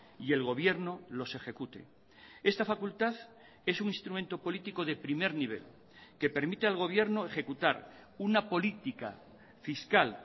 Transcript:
y el gobierno los ejecute esta facultad es un instrumento político de primer nivel que permite al gobierno ejecutar una política fiscal